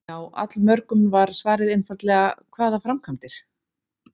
Hjá allmörgum var svarið einfaldlega: Hvaða framkvæmdir?